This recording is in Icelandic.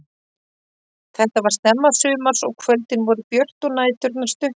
Þetta var snemma sumars og kvöldin voru björt og næturnar stuttar.